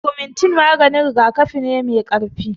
Agamentin maganin rigakafi ne mai karfi